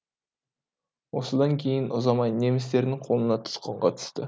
осыдан кейін ұзамай немістердің қолына тұтқынға түсті